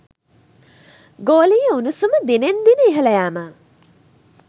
ගෝලීය උණුසුම දිනෙන් දින ඉහළ යෑම